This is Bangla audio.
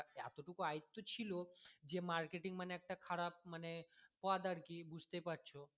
যতটুকু আয়ত্ত ছিল যে marketing মানে একটা খারাপ মানে পথ আরকি বুঝতেই পারছো